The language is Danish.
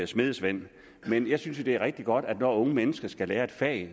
smedesvend men jeg synes jo det er rigtig godt at når unge mennesker skal lære et fag